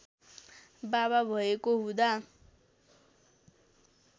बाबा भएको हुँदा